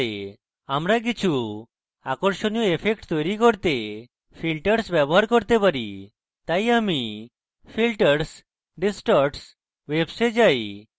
আমরা কিছু আকর্ষণীয় effects তৈরী করতে filters ব্যবহার করতে পারি তাই আমি filters distorts waves we যাই